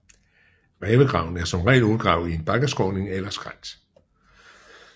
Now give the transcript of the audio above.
Rævegraven er som regel udgravet i en bakkeskråning eller skrænt